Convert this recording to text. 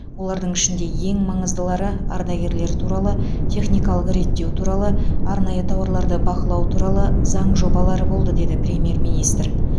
олардың ішінде ең маңыздылары ардагерлер туралы техникалық реттеу туралы арнайы тауарларды бақылау туралы заң жобалары болды деді премьер министр